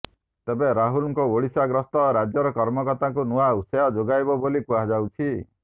ତେବେ ରାହୁଲଙ୍କ ଓଡ଼ିଶା ଗସ୍ତ ରାଜ୍ୟର କର୍ମକର୍ତ୍ତାକୁ ନୂଆ ଉତ୍ସାହ ଯୋଗାଇବ ବୋଲି କୁହାଯାଉଛି